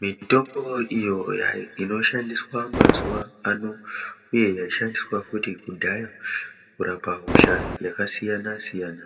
Mitombo iyo inoshandiswa mazuwa ano uye yaishandiswa futi kudhaya kurapa hosha yakasiyana siyana,